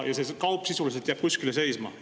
See jääb sisuliselt kuskile seisma.